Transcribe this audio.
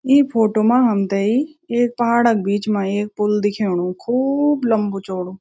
ई photo मा हमथई एक पहाड़ क बीच मा एक पुल दिखेणु खूब लम्बू चौडो।